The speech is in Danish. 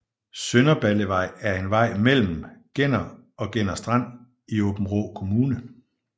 Sønderballevej er en vej mellem Genner og Genner Strand i Aabenraa Kommune